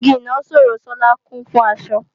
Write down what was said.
Igi ìnaṣọró Sola kún fún aṣọ